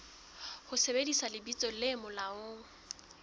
ho sebedisa lebitso le molaong